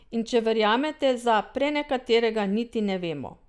In če verjamete, za prenekaterega niti ne vemo.